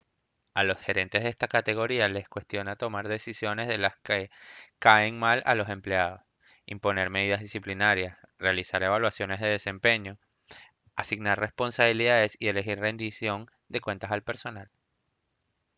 a los gerentes de esta categoría le cuesta tomar decisiones de las que caen mal a los empleados imponer medidas disciplinarias realizar evaluaciones de desempeño asignar responsabilidades y exigir rendición de cuentas al personal